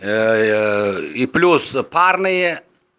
и плюс парные